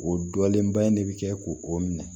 O dɔlenba in ne bi kɛ k'o minɛ